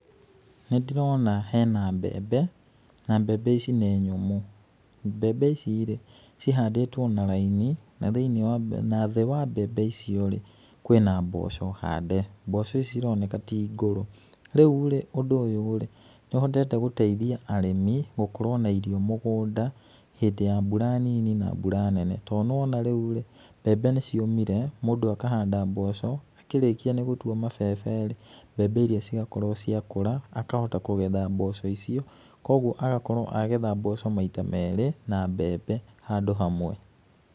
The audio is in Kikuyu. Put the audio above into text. Nĩ ndĩrona hena mbembe na mbembe ici nĩ nyũmũ. Mbembe ici r,ĩ cihandĩtwo na raini na thĩĩ wa mbembe icio rĩ kwĩna mboco hande, mboco ici cironeka ti ngũrũ, rĩurĩ ũndũ ũyũ rĩ nĩũhotete gũteithia arĩmi gũkorwo na irio mũgũnda hĩndĩ ya mbura nini na mbura nene to nĩwona rĩu rĩ, mbembe nĩciũmire, mũndũ akahanda mboco akĩrĩkia gũtwa mabebe rĩ. mbembe iria cigakorwo ciakũra akahota kũgetha mboco icio koguo agakorwo agetha mboco maita merĩ na mbembe handu hamwe.